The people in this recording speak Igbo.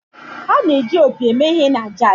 A na-eji opi eme ihe na jazz.